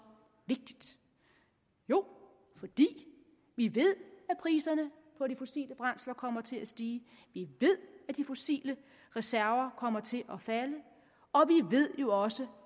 vigtigt jo fordi vi ved at priserne på de fossile brændsler kommer til at stige vi ved at de fossile reserver kommer til at falde og vi ved jo også